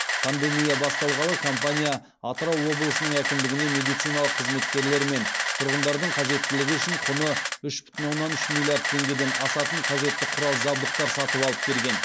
пандемия басталғалы компания атырау облысының әкімдігіне медицина қызметкерлері мен тұрғындардың қажеттілігі үшін құны үш бүтін оннан үш миллиард теңгеден асатын қажетті құрал жабдықтар сатып алып берген